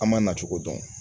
An ma na cogo dɔn